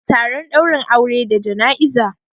Taron daurin aure da jana'iza